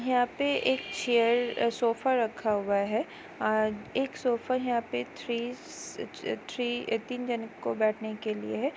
यहाँ पे एक चेयर सोफा रखा हुआ है एक सोफा यहा पे थ्रीस अ-अ थ्री तीन जनो को बैठने के लिए है।